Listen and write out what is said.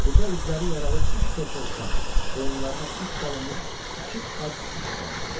Burda üzləri yaralı üç körpə uşaq, boyunlarına ip salınmış iki ac it də vardı.